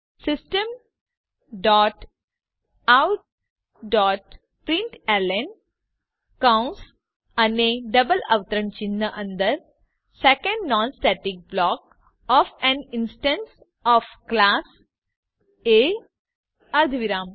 system dot out dot println કૌંસ અને double અવતરણ ચિહ્ન અંદર second non static block O F A N instance O F class A અર્ધવિરામ